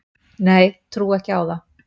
Nei, trúi ekki á það